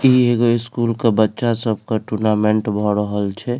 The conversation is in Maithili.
इ एगो स्कूल के बच्चा सब के टूर्नामेंट भ रहल छै।